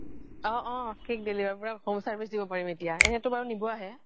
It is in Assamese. অ অ cake deliver কৰা home service দিম এতিয়া এনেতো বাৰু নিব আহে